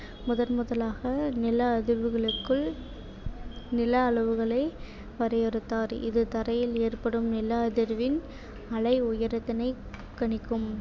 முதன்முதலாக நில அதிர்வுகளுக்குள் நில அளவுகளை வரையறுத்தார் இது தரையில் ஏற்படும் நில அதிர்வின் அலை உயரத்தினைக் கணிக்கும்